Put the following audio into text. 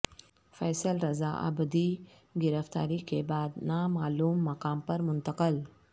فیصل رضا عابدی گرفتاری کے بعد نا معلوم مقام پر منتقل